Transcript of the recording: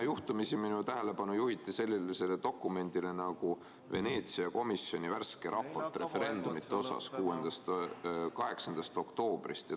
Minu tähelepanu juhiti sellisele dokumendile nagu Veneetsia komisjoni värske raport referendumite kohta, see on 8. oktoobrist.